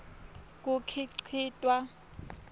kukhicitwa